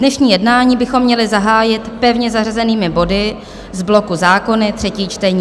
Dnešní jednání bychom měli zahájit pevně zařazenými body z bloku zákony třetí čtení.